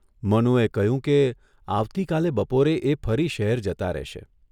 મનુએ કહ્યું કે, આવતીકાલે બપોરે એ ફરી શહેર જતા રહેશે.